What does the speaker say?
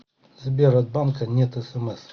сбер от банка нет смс